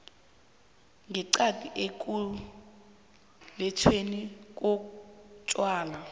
ngeqadi ekulethweni kotjwala